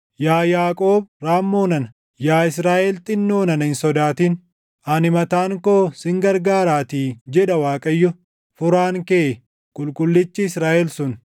Yaa Yaaqoob raammoo nana, Yaa Israaʼel xinnoo nana hin sodaatin; ani mataan koo sin gargaaraatii” jedha Waaqayyo, Furaan kee, Qulqullichi Israaʼel sun.